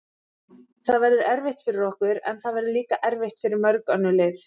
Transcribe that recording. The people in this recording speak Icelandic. Það verður erfitt fyrir okkur, en það verður líka erfitt fyrir mörg önnur lið.